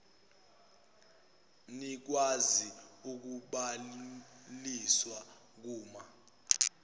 nikwazi ukubhaliswa kuma